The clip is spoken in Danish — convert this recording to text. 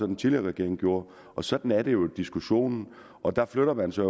den tidligere regering gjorde sådan er det jo og der flytter man sig